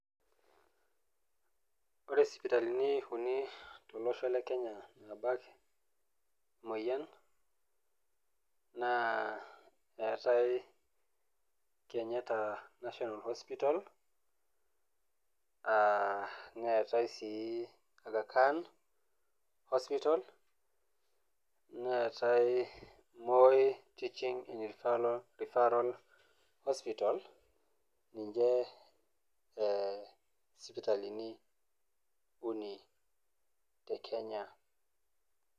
Ore sipitalini uni tolosho le Kenya naabak emoyian, naa keatai Kenyatta National Hospital, neatai sii Agha Khan Hospital, neatai Moi Teaching and Refferal Hospital, ninche isipitalini uni te Kenya.